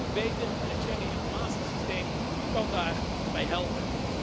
Dat moet beter en het Schengeninformatiesysteem kan daarbij helpen.